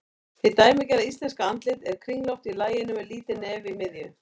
Hið dæmigerða íslenska andlit er kringlótt í laginu með lítið nef í miðju.